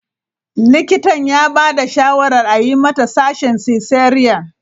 Likitan ya ba da shawarar a yi mata sashin cesarean.